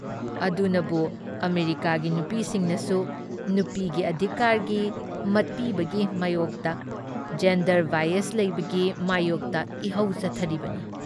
ꯑꯗꯨꯅꯕꯨ ꯑꯃꯦꯔꯤꯀꯥꯒꯤ ꯅꯨꯄꯤꯁꯤꯡꯅꯁꯨ ꯅꯨꯄꯤꯒꯤ ꯑꯙꯤꯀꯥꯔꯒꯤ ꯃꯠꯄꯤꯕꯒꯤ ꯃꯥꯌꯣꯛꯇ, ꯖꯦꯟꯗꯔ ꯕꯥꯏꯌꯖ ꯂꯩꯕꯒꯤ ꯃꯥꯌꯣꯛꯇ ꯏꯍꯧ ꯆꯠꯊꯔꯤꯕꯅꯤ ꯫